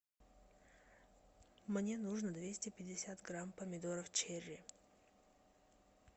мне нужно двести пятьдесят грамм помидоров черри